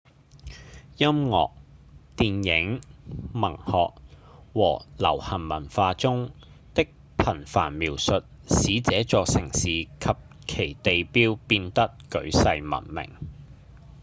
音樂、電影、文學和流行文化中的頻繁描述使這座城市及其地標變得舉世聞名